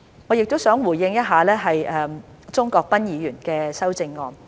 我亦想回應鍾國斌議員的修正案。